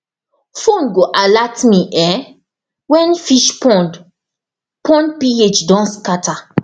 phone go alert me um when fish pond pond ph don scatter